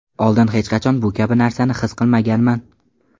Oldin hech qachon bu kabi narsani his qilmaganman.